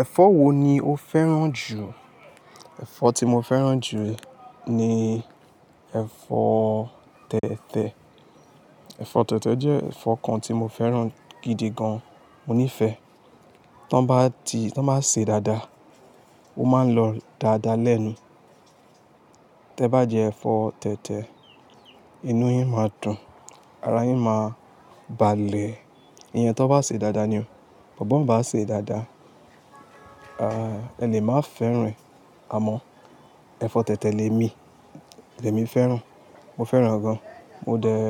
Ẹ̀fọ́ wo ni o fẹ́ràn jù? Ẹ̀fọ́ tí mo fẹ́ràn jù ni ẹ̀fọ́ tẹ̀tẹ̀. Ẹ̀fọ́ tẹ̀tẹ̀ jẹ́ ẹ̀fọ́ kan tí mo fẹ́ràn gidi gan. Mo nífẹ̀ẹ́. Tí wọ́n bá ti-- tí wọ́n bá sè é dáadáa, ó máa ń lọ dáadáa lẹ́nu. Tẹ́ bá jẹ ẹ̀fọ́ tẹ̀tẹ̀, inú yín máa dùn, ara yín máa balẹ̀. Iyẹn tí wọ́n bá sè é dáadáa ni o. But ban bá sè é dáadáa, ah, ẹle màá fẹ́ràn. Àmọ́ ẹ̀fọ́ tẹ̀tẹ̀ lè mi, lè mi fẹ́ràn, mo fẹ́ràn gan. Mo dẹ́,